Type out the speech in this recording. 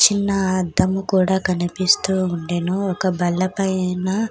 చిన్న అద్దము కూడా కనిపిస్తూ ఉండెను. ఒక బల్ల పైన--